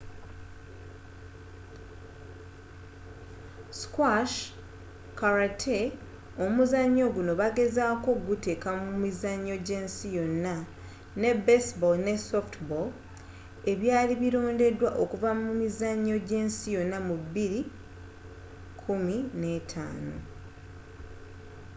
squash karate omuzannyo guno bagezaako okuguteeka mu mizannyo gy'ensi yonna ne baseball ne softball ebyali birondeddwa okuva mu mizannyo gy'ensi yonna mu 2005